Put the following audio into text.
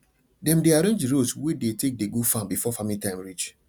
dem dey arrange d roads wey dey take dey go farm before farming time reach